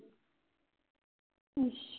ਅੱਛਾ